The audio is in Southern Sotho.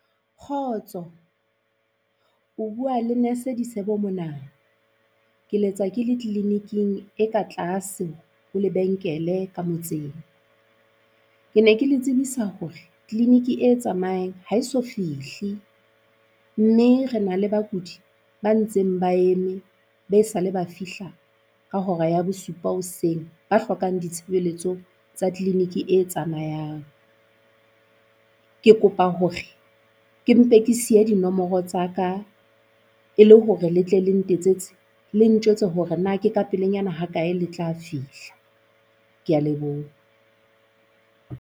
Kgotso, o bua le nurse-e Disebo mona. Ke letsa ke le clinic-ing e ka tlase ho lebenkele ka motseng. Ke ne ke le tsebisa hore clinic e tsamayang ha eso fihle mme re na le bakudi ba ntseng ba eme be sa le ba fihla ka hora ya bosupa hoseng ba hlokang ditshebeletso tsa clinic-e e tsamayang. Ke kopa hore ke mpe ke siye dinomoro tsa ka e le hore le tle le ntetsetse le ntjwetsa hore na ke ka pelenyana ha kae le tla fihla, kea leboha.